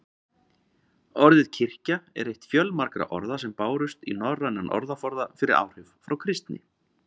Orðið kirkja er eitt fjölmargra orða sem bárust í norrænan orðaforða fyrir áhrif frá kristni.